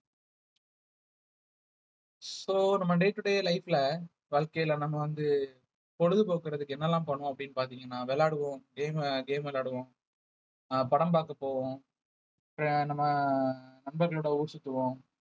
so நம்ம day to day life ல வாழ்க்கையில நம்ம வந்து பொழுதுபோக்குறதுக்கு என்னெல்லாம் பண்ணுவோம் அப்படின்னு பார்த்தீங்கன்னா விளையாடுவோம் game அ game விளையாடுவோம் அஹ் படம் பார்க்கப் போவோம் நம்ம நண்பர்களோட ஊர் சுத்துவோம்